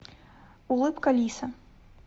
улыбка лиса